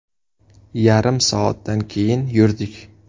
Yarim soatdan keyin yurdik.